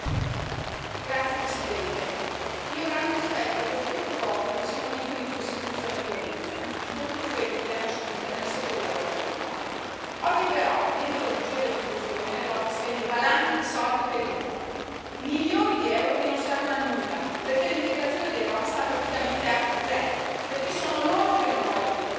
Signora Presidente, onorevoli colleghi, ho grande rispetto per tutti i popoli che sono vittime di persecuzioni e violenze, soprattutto quelli che le hanno subite nella Seconda guerra mondiale. Oggi però, dietro la bugia dell'inclusione, l'Europa spende valanghe di soldi per i rom, milioni di euro che non servono a nulla, perché l'integrazione dei rom sta praticamente a zero, perché sono loro che non vogliono integrarsi.